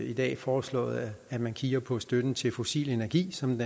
i dag foreslået at man kigger på støtten til fossil energi som